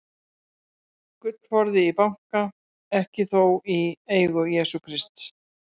Gullforði í banka, ekki þó í eigu Jesú Krists.